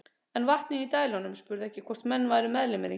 En vatnið í dælunum spurði ekki hvort menn væru meðlimir í